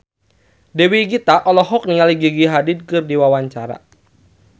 Dewi Gita olohok ningali Gigi Hadid keur diwawancara